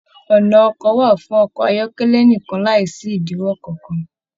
Ọnà ọkọ wà fún ọkọ ayọkẹlẹ nìkan láìsí idiwọ kankan